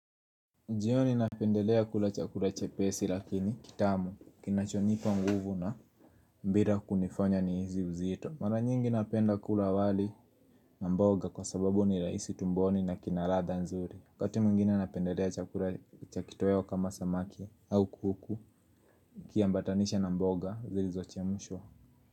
Jioni ninapendelea kula chakula chepesi lakini kitamu kinachonipa nguvu na bila kunifanya nihisi uzito mara nyingi napenda kula wali na mboga kwa sababu ni rahisi tumboni na kina radha nzuri waKati mwingine napendelea chakula cha kitoeo kama samaki au kuku kiambatanishe na mboga zilizo chemshwa.